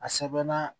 A sɛbɛnna